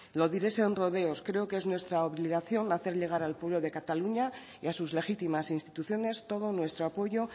lo diré sin rodeos creo que es nuestra obligación hacer llegar al pueblo de cataluña y a sus legítimas instituciones todo nuestro apoyo